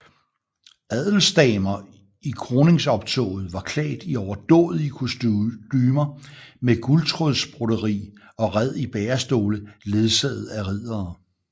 Adelsdamer i kroningsoptoget var klædt i overdådige kostumer med guldtråds broderi og red i bærestole ledsaget af riddere